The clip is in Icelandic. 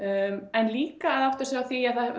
en líka að átta sig á því að